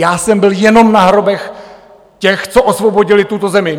Já jsem byl jenom na hrobech těch, co osvobodili tuto zemi.